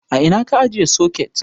A ina ka ajiye soket?